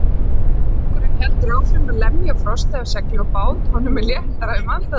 Strákurinn heldur áfram að lemja frostið af segli og bát, honum er léttara um andardrátt.